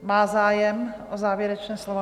Má zájem o závěrečné slovo?